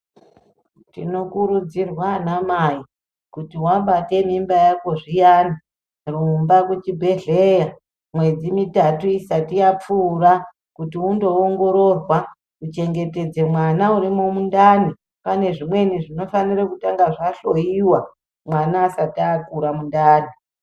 Tinokurudzirwa ana mai kuti wabate mimba yako zviyani rumba kuchibhedhleya mwedzi mitatu isati yapfuura kuti undoongororwa kuchengetedze mwana hrimwo mundani pane zvimweni zvinofanire kutanga zvahloiwa mwana asati akura mundani.